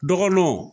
Dɔgɔnɔw